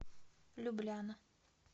любляна